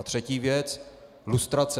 A třetí věc: lustrace.